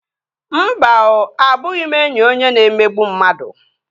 Mba oo, abụghị m enyi onye na-emegbu mmadụ